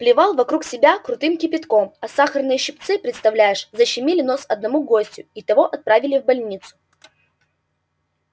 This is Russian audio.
плевал вокруг себя крутым кипятком а сахарные щипцы представляешь защемили нос одному гостю и того отправили в больницу